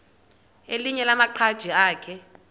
elinye lamaqhaji akhe